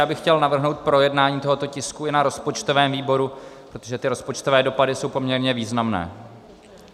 Já bych chtěl navrhnout projednání tohoto tisku i na rozpočtovém výboru, protože ty rozpočtové dopady jsou poměrně významné.